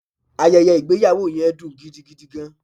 Ayeye igbeyawo yen dun gidigidi gan